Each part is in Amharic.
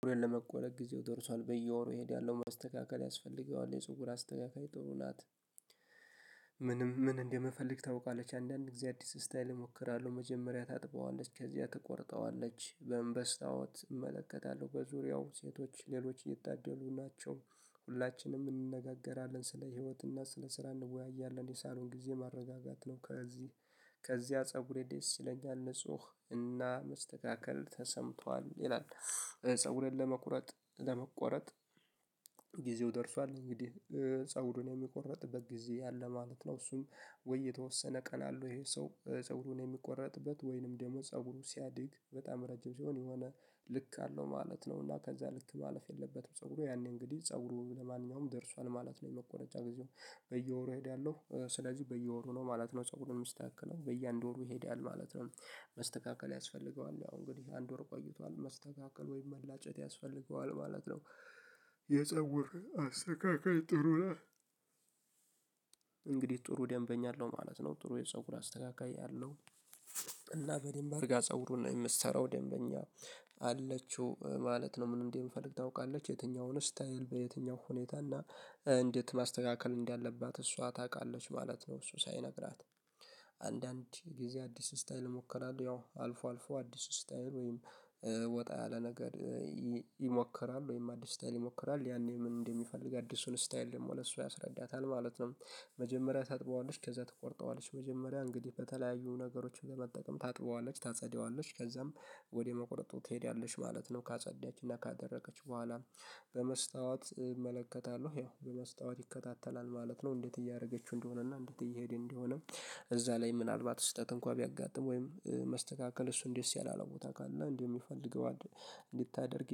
ፀጉሬ ለመቆረጥ ጊዜው ደርሷል በየወሩ እሄዳለሁ ማስተካካል ያስፈልገዋል የጽሁር አስተካካይ ጥሩ ናት። ምንም ምን እንደምፈልግ ታውቃለች አንዳንድ እአዲስ ስታይል እሞክራለሁ መጀመሪያ ታጥበዋለች ከዚያ ትቆርጠዋለች በመምበስ ታወት እመለከታለሁ በዙሪያው ሴቶች ሌሎች እየታደሉ ናቸው ሁላችንም እንነጋገራለን ስለ ህይወትና ስለ ስራ እንወያያለን የሳሎን ጊዜ ማረጋጋት ነው። ከዚህ ከዚያ ፀጉሬ ደስ ይለኛል ንጹህ እና መስተካከል ተሰምቷል ይላል። ፀጉሬን ለመቁረጥ ለመቆረጥ ጊዜው ደርሷል እንግዲህ ፀጉሩን የሚቆረጥበት ጊዜ ያለ ማለት ነው። እሱም ወይ የተወሰነ ቀን አለው ይሄ ሰው ፀጉሩን የሚቆረጥበት ወይንም ደግሞ ፀጉሩ ሲያድግ በጣም ረጅም ሲሆን የሆነ ልክ አለው ማለት ነው። እና ከዛ ልክ ማለፍ የለበትም። ፀጉሩ ያኔ እንግዲህ ፀጉሩ ለማንኛውም ደርሷል ማለት ነው የመቆረጃ ጊዜው። በየወሩ እሄዳለሁ ስለዚህ በየወሩ ነው ማለት ነው ጸጉሩ የሚስተካከለው በየአንድ ወሩ ይሄዳል ማለት ነው። መስተካከል ያስፈልገዋል ያው እንግዲህ አንድ ወር ቆይቷል መስተካከል ወይም መላጨት ያስፈልገዋል ማለት ነው። የፀጉር አስተካካይ ጥሩ እንግዲህ ጥሩ ደንበኛ አለው ማለት ነው ጥሩ የፀጉር አስተካካይ አለው። እና በደንብ አድርጋ ፀጉሩን የምትሰራው ደንበኛ አለችው ማለት ነው። ምን እንዴ የምትፈልግ ታውቃለች የትኛውን ስታይል በየትኛው ሁኔታ እና እንዴት ማስተካከል እንዳለባት እሷ ታውቃለች ማለት ነው። እሱ ሳይነግራት አንዳንድ ጊዜ አዲስ ስታይል እሞክራለሁ ያው አልፎ አልፎ አዲስ ስታይል ወይም ወጣ ያለ ነገር ይሞክራል ወይም አዲስ ስታይል ይሞክራል ያኔ ምን እንደሚፈልግ አዲሱን ስታይል ደግሞ ለሱ ያስረዳታል ማለት ነው። መጀመሪያ ታጥበዋለች ከዛ ትቆርጠዋለች መጀመሪያ እንግዲህ በተለያዩ ነገሮች ለመጠቀም ታጥበዋለች ታጸደዋለች ከዛም ወደ መቁረጡ ትሄዳለች ማለት ነው። ካጸዳችና ካደረገች በኋላ በመስታወት እመለከታለሁ ያው በመስታወት ይከታተላል ማለት ነው። እንዴት እያደረገችው እንደሆነና እንዴት እየሄዴ እንደሆነ። እዛ ላይ ምናልባት ስህተት እንኳን ቢያጋጥም ወይም መስተካከል እሱን ደስ ያለ አላውቅም ቦታ ካለ እንደው የሚፈልገው እንድታደርግ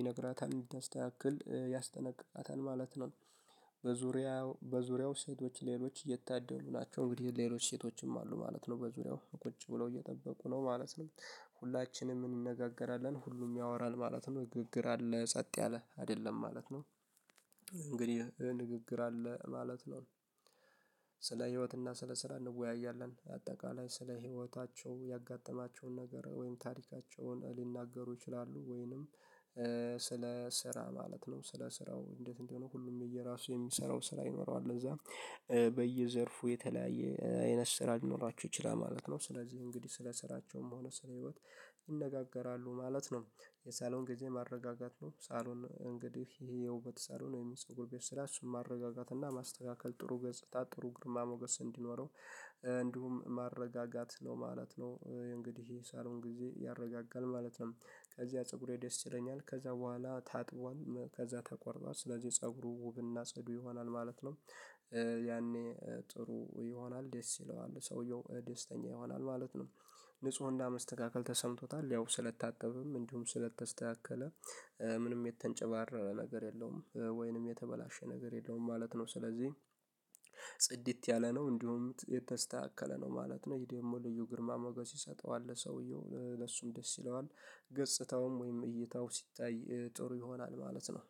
ይነግራታል እንድታስተካክል ያስጠነቅቃታል ማለት ነው። በዝርያው በዙሪያው ሴቶች ሌሎች እየታደሉ ናቸው እንግዲህ ሌሎች ሴቶችም አሉ ማለት ነው በዙሪያው ቁጭ ብለው እየጠበቁ ነው ማለት ነው። ሁላችንም እንነጋገራለን ሁሉም ያወራን ማለት ነው ንግግር አለ ጸጥ ያለ አይደለም ማለት ነው። እንግዲህ ንግግር አለ ማለት ነው። ስለ ህይወትና ስለ ስራ እንወያያለን አጠቃላይ ስለ ህይወታቸው ያጋጠማቸውን ነገር ወይም ታሪካቸውን ሊናገሩ ይችላሉ ወይንም ስለ ስራ ማለት ነው። ስለ ስራው እንዴት እንደሆነ ሁሉም የየራሱ የሚሰራው ስራ ይኖረዋል ለዛ። በየዘርፉ የተለያየ አይነት ስራ ሊኖራችሁ ይችላል ማለት ነው። ስለዚህ እንግዲህ ስለ ስራቸውም ሆነ ስለ ህይወት ይነጋገራሉ ማለት ነው። የሳሎን ጊዜ ማረጋጋት ነው ሳሎን እንግዲህ ይሄ የውበት ሳሎን ወይም የፀጉር ቤት እሱን ማረጋጋት እና ማስተካከል ጥሩ ገጽታ ጥሩ ግርማ ሞገስ እንዲኖረው እንዲሁም ማረጋጋት ነው ማለት ነው። እንግዲህ ይሄ ሰሩን ጊዜ ያረጋጋል ማለት ነው። ከዚያ ፀጉሬ ደስ ይለኛል ከዛ በኋላ ታጥቧል ከዛ ተቆርጧል ስለዚህ የፀጉሩ ውብ ጽዱ ይሆናል ማለት ነው። ያኔ ጥሩ ይሆናል ደስ ይለዋል ሰውየው ደስተኛ ይሆናል ማለት ነው። ንጹህ መስተካከል ተሰምቶታል ያው ስለታጠበም እንዲሁም ስለተስተካከለ ምንም የተንጨባረረ ነገር የለውም ወይንም የተበላሸ ነገር የለውም ማለት ነው። ስለዚህ ጽድት ያለ ነው እንዲሁም የተስተካከለ ነው ማለት ነው። ይሄ ደግሞ ልዩ ግርማ መገስ ይሰጠዋል ለሰውየው ለሱም ደስ ይለዋል ገጽታውም ወይም እይታው ሲታይ ጥሩ ይሆናል ማለት ነው።